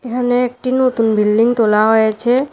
এখানে একটি নতুন বিল্ডিং তোলা হয়েছে।